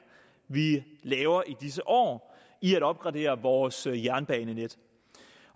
vi laver i disse år i at opgradere vores jernbanenet